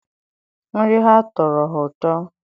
nri ha tọrọ ha ụtọ